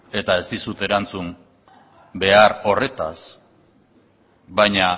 eta ez dizut erantzun behar horretaz